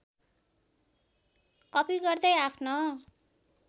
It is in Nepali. कपी गर्दै आफ्नो